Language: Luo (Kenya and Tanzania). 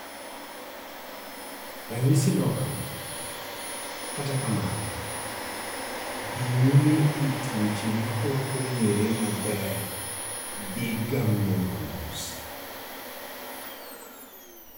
ranyisi lokore, katra kamano, dhi nyime e tuoche ma ok ong'ere maber dhi ga mos